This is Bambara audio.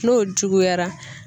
N'o juguyara.